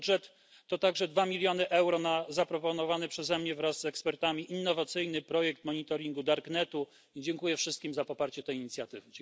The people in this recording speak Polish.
Budżet to także dwa miliony euro na zaproponowany przeze mnie wraz z ekspertami innowacyjny projekt monitoringu darknetu i dziękuję wszystkim za poparcie tej inicjatywy.